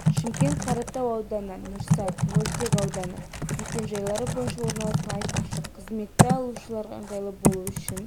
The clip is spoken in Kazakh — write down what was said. шымкент қаратау ауданы нұрсат мөлтек ауданы мекен-жайлары бойынша орналасқан айтпақшы қызметті алушыларға ыңғайлы болу үшін